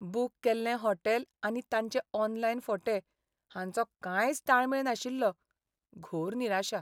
Book केल्लें hotel आनी तांचे ऑनलायन फोटे हांचो कांयच ताळमेळ नाशिल्लो. घोर निराशा!